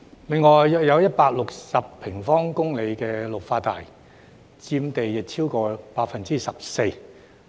另有約160平方公里綠化帶，佔地超過 14%。